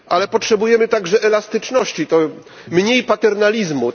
Potrzebujemy także elastyczności, mniej paternalizmu.